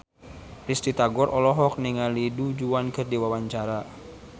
Risty Tagor olohok ningali Du Juan keur diwawancara